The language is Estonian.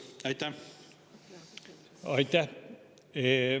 Aitäh!